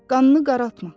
Qannını qaraltma.